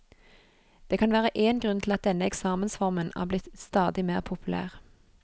Det kan være én grunn til at denne eksamensformen er blitt stadig mer populær.